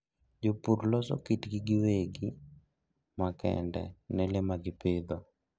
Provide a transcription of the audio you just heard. Jopur loso kitgi giwegi ma kende ne le ma gipidho.